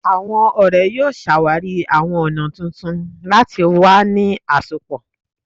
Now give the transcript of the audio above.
Awọn ọrẹ yoo ṣawari awọn ọna tuntun lati wa ni asopọ